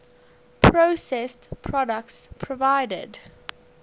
processed products provided